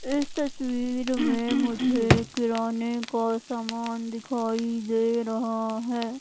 इस तस्वीर में मुझे खिलौने को समान दिखाई दे रहा है।